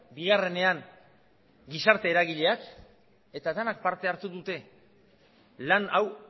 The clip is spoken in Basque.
bigarrenean gizarte eragileak eta denak parte hartu dute lan hau